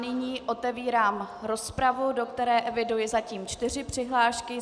Nyní otevírám rozpravu, do které eviduji zatím čtyři přihlášky.